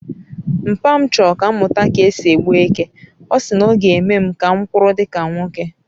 mpa m choro ka m muta ka esi e gbu eke, osi na oga eme m ka m kwuru dika nwoke